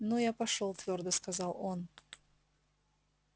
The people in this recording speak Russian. ну я пошёл твёрдо сказал он